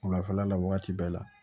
Wulafɛla la wagati bɛɛ la